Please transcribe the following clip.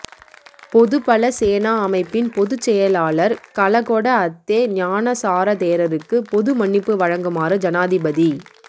பொதுபல சேனா அமைப்பின் பொதுச் செயலாளர் கலகொட அத்தே ஞானசார தேரருக்கு பொதுமன்னிப்பு வழங்குமாறு ஜனாதிபதி